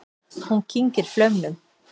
Hún kyngir flaumnum.